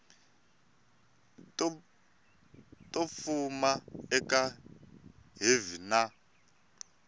to fuma eka hiv na